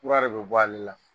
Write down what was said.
Kura de be bɔ ale la.